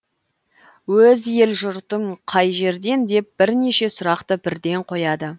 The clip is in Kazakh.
өз ел жұртың қай жерден деп бірнеше сұрақты бірден қояды